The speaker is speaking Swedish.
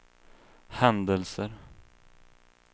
händelser